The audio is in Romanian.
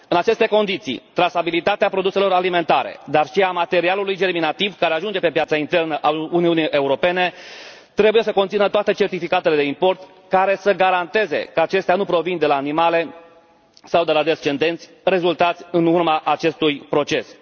În aceste condiții, trasabilitatea produselor alimentare, dar și a materialului germinativ care ajunge pe piața internă a Uniunii Europene, trebuie să conțină toate certificatele de import care să garanteze că acestea nu provin de la animale sau de la descendenți rezultați în urma acestui proces.